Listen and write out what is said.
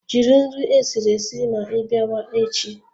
Jiri nri esiri esi ma ịbịa wa echi